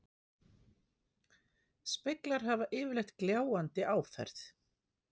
Speglar hafa yfirleitt gljáandi áferð.